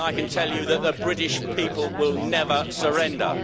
And I can tell you that the British people will never surrender.